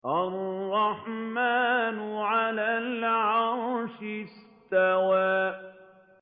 الرَّحْمَٰنُ عَلَى الْعَرْشِ اسْتَوَىٰ